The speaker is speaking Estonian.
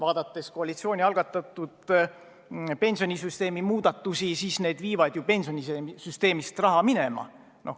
Aga koalitsiooni algatatud pensionisüsteemi muudatused viivad pensionisüsteemist raha minema.